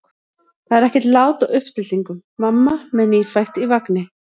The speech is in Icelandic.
Það er ekkert lát á uppstillingum: mamma með nýfætt í vagni.